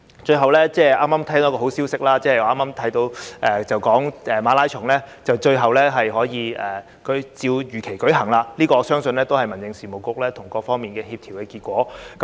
最後，剛剛得知一個好消息，就是馬拉松終於可以如期舉行，我相信這也是民政事務局與各方面協調的結果。